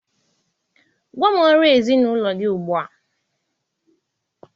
Gwa m ọrụ ezinụlọ gị ugbu a!